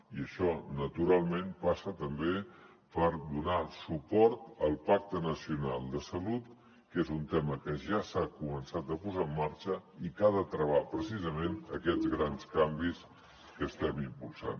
i això naturalment passa també per donar suport al pacte nacional de salut que és un tema que ja s’ha començat a posar en marxa i que ha de travar precisament aquests grans canvis que estem impulsant